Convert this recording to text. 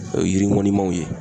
O ye yiri ŋɔnimanw ye.